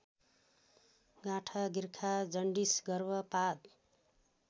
गाँठागिर्खा jaundice गर्भपात